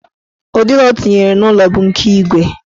Ụdị ụzọ ọ tinyere n'ụlọ bụ nke igwe.